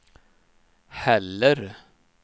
heller